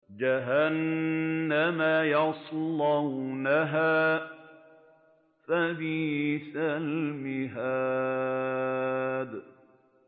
جَهَنَّمَ يَصْلَوْنَهَا فَبِئْسَ الْمِهَادُ